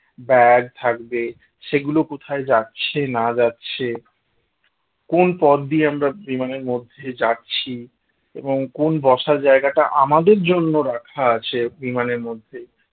bag থাকবে সেগুলো কোথায় যাচ্ছে না যাচ্ছে কোন পথ দিয়ে আমরা বিমানের মধ্যে যাচ্ছি এবং কোন বসার জায়গাটা আমাদের জন্য রাখা আছে বিমানের মধ্যে